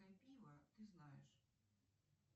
ты знаешь